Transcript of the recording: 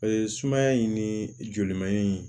sumaya in ni joli man ɲi